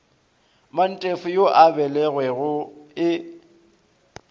mantefo yo a belegwego e